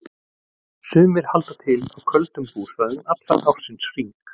Sumir halda til á köldum búsvæðum allan ársins hring.